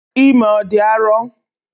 Ime ọ dị arọ?